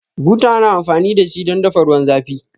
Buta ana amfani dashi don dafa ruwan zafi